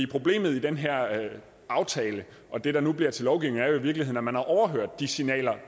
problemet i den her aftale og det der nu bliver til lovgivning er jo i virkeligheden at man har overhørt de signaler